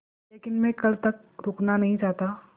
लेकिन मैं कल तक रुकना नहीं चाहता